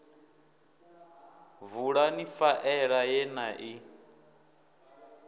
vulani faela ye na i